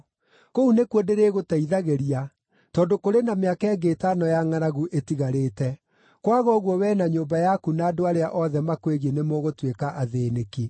Kũu nĩkuo ndĩrĩgũteithagĩria tondũ kũrĩ na mĩaka ĩngĩ ĩtano ya ngʼaragu ĩtigarĩte. Kwaga ũguo wee na nyũmba yaku na andũ arĩa othe makwĩgiĩ nĩmũgũtuĩka athĩĩnĩki.’